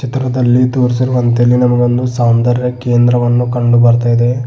ಚಿತ್ರದಲ್ಲಿ ತೋರಿಸಿರುವಂತೆ ಇಲ್ಲಿ ನಮಗೊಂದು ಸೌಂದರ್ಯ ಕೇಂದ್ರವನ್ನು ಕಂಡು ಬರ್ತಾ ಇದೆ.